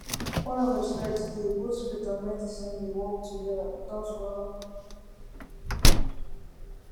when respect dey both faith and medicine dey work together without wahala